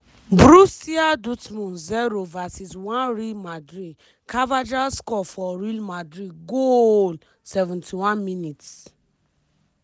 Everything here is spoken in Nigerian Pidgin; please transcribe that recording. borussia dortmund 0 vs 1 real madrid carvajal score for rel madrid goaaaaaaaaaaaaaaaaaallllll 71mins-